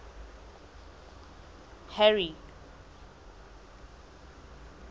harry